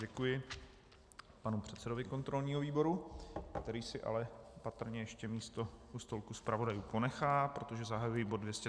Děkuji panu předsedovi kontrolního výboru, který si ale patrně ještě místo u stolku zpravodajů ponechá, protože zahajuji bod